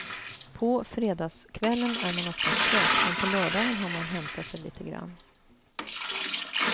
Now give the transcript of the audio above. På fredagskvällen är man oftast trött, men på lördagen har man hämtat sig lite grann.